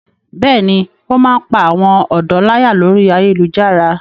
Bẹ́ẹ̀ni, ó máa ń pá àwọn ọ̀dọ́ láyà lórí ayélujára.